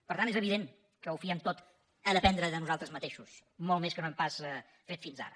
per tant és evident que ho fiem tot a dependre de nosaltres mateixos molt més que no hem pas fet fins ara